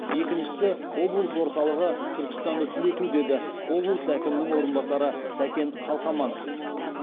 екіншісі облыс орталығы түркістанды түлету деді облыс әкімінің орынбасары сәкен қалқаманов